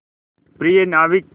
प्रिय नाविक